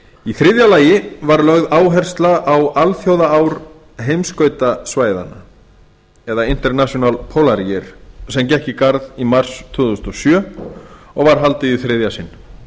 í þriðja lagi var lögð áhersla á alþjóðaár heimskautasvæðanna eða international polarier sem gekk í garð í mars tvö þúsund og sjö og var haldið í þriðja sinn